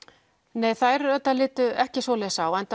nei þær litu ekki svo á enda